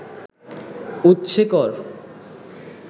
উৎসে কর